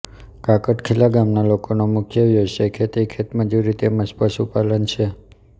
કાકડખીલા ગામના લોકોનો મુખ્ય વ્યવસાય ખેતી ખેતમજૂરી તેમ જ પશુપાલન છે